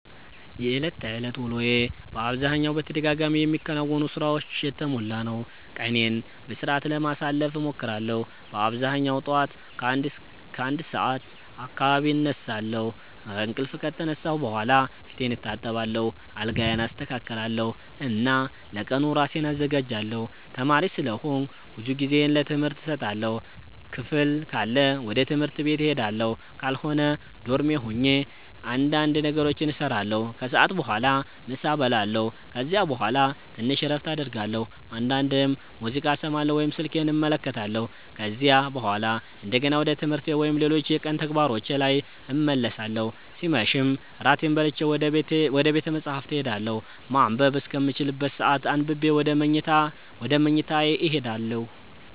የዕለት ተዕለት ውሎዬ በአብዛኛው በተደጋጋሚ የሚከናወኑ ሥራዎች የተሞላ ነው። ቀኔን በሥርዓት ለማሳለፍ እሞክራለሁ በአብዛኛው ጠዋት ከ1 ሰዓት አካባቢ እነሳለሁ። ከእንቅልፌ ከተነሳሁ በኋላ ፊቴን እታጠባለሁ፣ አልጋዬን አስተካክላለሁ እና ለቀኑ ራሴን አዘጋጃለሁ። ተማሪ ስለሆንኩ ብዙ ጊዜዬን ለትምህርት እሰጣለሁ። ክፍል ካለ ወደ ትምህርት ቤት እሄዳለሁ፣ ካልሆነ ዶርሜ ሆኜ እንዳንድ ነገሮችን እሰራለሁ። ከሰዓት በኋላ ምሳ እበላለሁ ከዚያ በኋላ ትንሽ እረፍት አደርጋለሁ፣ አንዳንዴም ሙዚቃ እሰማለሁ ወይም ስልኬን እመለከታለሁ። ከዚያ በኋላ እንደገና ወደ ትምህርቴ ወይም ሌሎች የቀኑ ተግባሮቼ ላይ እመለሳለሁ ሲመሽም እራቴን በልቼ ወደ ቤተ መፃህፍት እሄዳለሁ ማንበብ እስከምችልበት ሰአት አንብቤ ወደ መኝታዬ እሄዳለሁ።